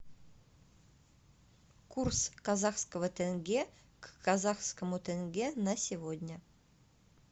курс казахского тенге к казахскому тенге на сегодня